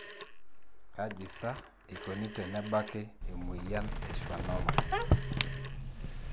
kaji saa eikoni tenebaki emoyian e schwannoma?